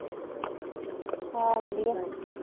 ਹਾਂ ਵਧੀਆ